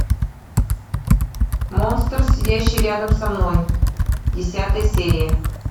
монстр сидящий рядом со мной десятая серия